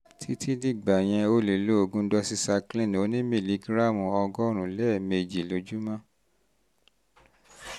títí dìgbà yẹn o lè lo oògùn doxycycline onímìlígíráàmù ọgọ́rùn-ún lẹ́ẹ̀mejì lójúmọ́